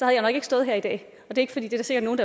jeg nok ikke stået her i dag det er der sikkert nogle